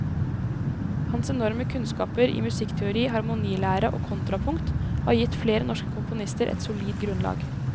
Hans enorme kunnskaper i musikkteori, harmonilære og kontrapunkt har gitt flere norske komponister et solid grunnlag.